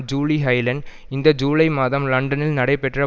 ஜீலி ஹைலண்ட் இந்த ஜூலை மாதம் லண்டனில் நடைபெற்ற